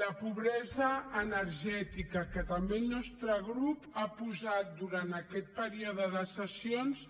la pobresa energètica que també el nostre grup ha posat durant aquest període de sessions